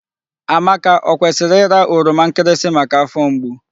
Amaka o kwesịrị ịra oroma nkịrịsị maka afọ mgbu?